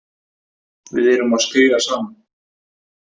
Við erum að skríða saman